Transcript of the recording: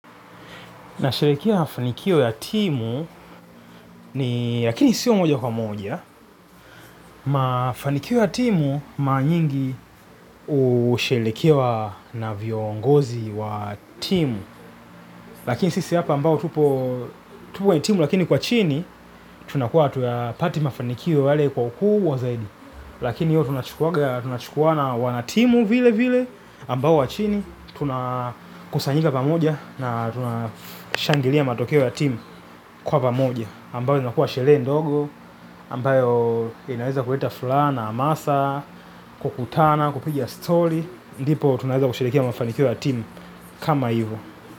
Nasherehekea mafanikio ya timu ni lakini sio moja kwa moja. Mafanikio ya timu mara nyingi husherehekewa na viongozi wa timu. Lakini sisi hapa ambao tupo kwenye timu lakini kwa chini tunakuwa hatuyapati mafanikio yale kwa ukubwa zaidi. Lakini hiyo tunachukua na wanatimu vile vile ambao wa chini tunakusanyika pamoja na tunashangilia matokeo ya timu kwa pamoja. Ambayo inakuwa sherehe ndogo, ambayo inaweza kuleta furaha, na amasa, kukutana, kupiga story. Ndipo tunaweza kusherehekea mafanikio ya timu kama hivo.